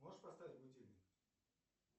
можешь поставить будильник